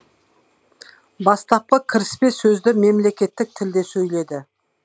бастапқы кіріспе сөзді мемлекеттік тілде сөйледі